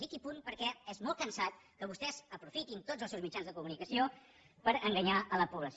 dic i punt perquè és molt cansat que vostès aprofitin tots els seus mitjans de comunicació per enganyar la població